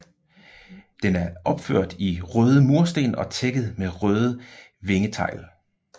Den er opført i røde mursten og tækket med røde vingetegl